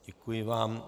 Děkuji vám.